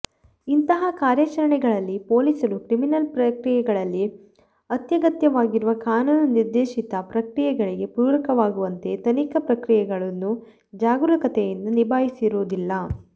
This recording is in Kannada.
ಇಂತಹ ಕಾರ್ಯಾಚರಣೆಗಳಲ್ಲಿ ಪೊಲೀಸರು ಕ್ರಿಮಿನಲ್ ಪ್ರಕ್ರಿಯೆಗಳಲ್ಲಿ ಅತ್ಯಗತ್ಯವಾಗಿರುವ ಕಾನೂನು ನಿರ್ದೇಶಿತ ಪ್ರಕ್ರಿಯೆಗಳಿಗೆ ಪೂರಕವಾಗುವಂತೆ ತನಿಖಾ ಪ್ರಕ್ರಿಯೆಗಳನ್ನು ಜಾಗರೂಕತೆಯಿಂದ ನಿಭಾಯಿಸಿರುವುದಿಲ್ಲ